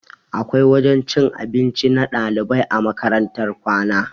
Akwai wajen cin abinci na ɗalibai a makarantar kwana